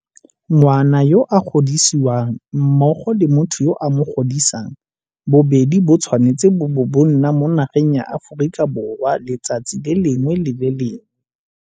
Ngwana yo a godisiwang mmogo le motho yo a mo godisang bobedi bo tshwanetse bo bo ba nna mo nageng ya Aforika Borwa letsatsi le lengwe le le lengwe.